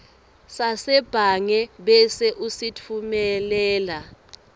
sasebhange bese usitfumelela